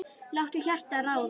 Láttu hjartað ráða.